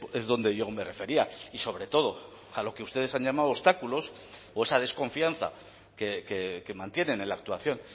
es donde yo me refería y sobre todo a lo que ustedes han llamado obstáculos o esa desconfianza que mantienen en la actuación